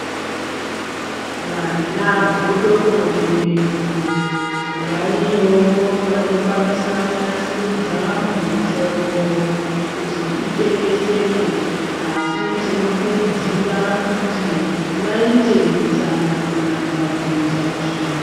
Vanagodobori vedu variyowo vanokwanisa kunasuridza mutombo kuti itengeseke , asi tinokurudzira kuti vaite hutsanana pakuita izvi.